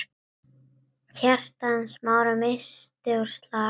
Hjarta Smára missti úr slag.